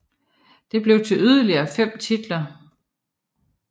Det blev til yderligere fem titler